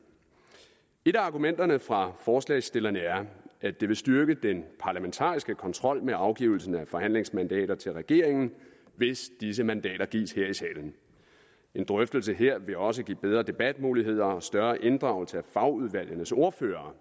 et af argumenterne for forslagsstillerne er at det vil styrke den parlamentariske kontrol med afgivelsen af forhandlingsmandater til regeringen hvis disse mandater gives her i salen en drøftelse her vil også give bedre debatmuligheder og større inddragelse af fagudvalgenes ordførere